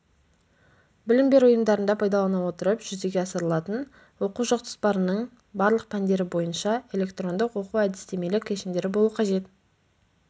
білім беру ұйымдарында пайдалана отырып жүзеге асырылатын оқу жоспарының барлық пәндері бойынша электрондық оқу-әдістемелік кешендері болу қажет